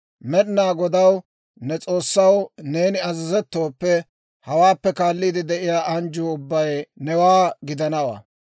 Med'inaa Godaw, ne S'oossaw, neeni azazettooppe, hawaappe kaalliide de'iyaa anjjuu ubbay newaa gidanawaa.